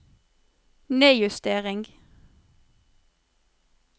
nedjustering